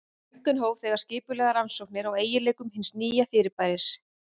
Röntgen hóf þegar skipulegar rannsóknir á eiginleikum hins nýja fyrirbæris.